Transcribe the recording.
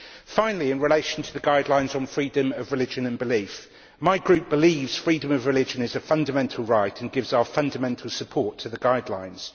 Finally, in relation to the guidelines on freedom of religion and belief, my group believes freedom of religion is a fundamental right and gives our fundamental support to the guidelines.